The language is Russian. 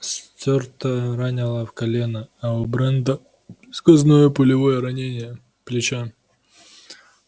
стюарта ранило в колено а у брента сквозное пулевое ранение плеча